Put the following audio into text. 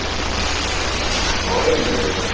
ଡର